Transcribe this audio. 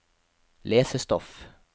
lesestoff